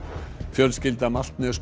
fjölskylda